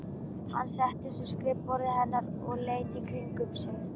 Hann settist við skrifborðið hennar og leit í kringum sig.